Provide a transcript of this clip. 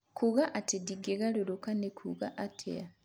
kuuga atĩ ndingĩgarũrũka nĩ kuuga atĩa